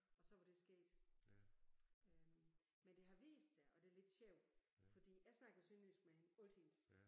Og så var det sket øh men det har vist sig og det lidt sjovt fordi jeg snakker sønderjysk med hende altid